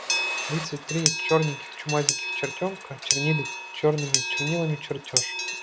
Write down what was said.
тридцать три чёрненьких чумазеньких чертёнка чернили чёрными чернилами чертёж